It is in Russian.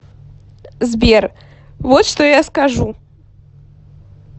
сбер вот что я скажу